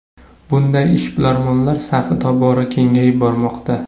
Bunday ishbilarmonlar safi tobora kengayib bormoqda.